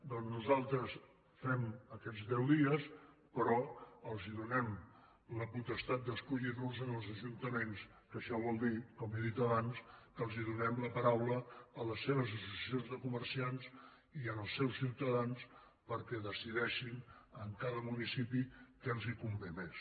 doncs nosaltres fem aquests deu dies però donem la potestat d’escollir los als ajuntaments que això vol dir com he dit abans que donem la paraula a les seves associacions de comerciants i als seus ciutadans perquè decideixin en cada municipi què els convé més